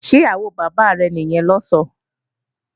Ṣé ìyàwó bàbá rẹ̀ nìyẹn lọ̀sán?